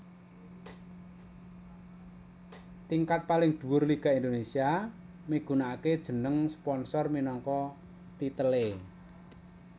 Tingkat paling dhuwur Liga Indonésia migunakaké jeneng sponsor minangka titelé